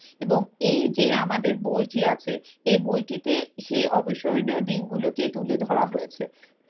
এবং এই যে আমাদের বইটি আছে এই বইটিতে সেই অবিস্মরণীয় দিনগুলোকেই তুলে ধরা হয়েছে।